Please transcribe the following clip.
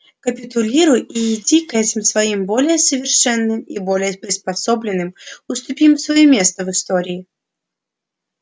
капитулируй и иди к этим своим более совершенным и более приспособленным уступи им своё место в истории